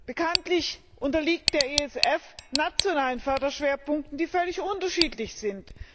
Bekanntlich unterliegt der ESF nationalen Förderschwerpunkten, die völlig unterschiedlich sind.